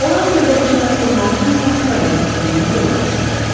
Onlar sövdələşməni pozmaq üçün Portuqaliya səfirliyinə yola düşdülər.